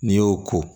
N'i y'o ko